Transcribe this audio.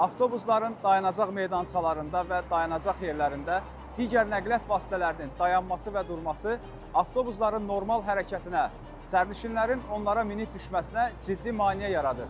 Avtobusların dayanacaq meydançalarında və dayanacaq yerlərində digər nəqliyyat vasitələrinin dayanması və durması, avtobusların normal hərəkətinə, sərnişinlərin onlara minib düşməsinə ciddi maneə yaradır.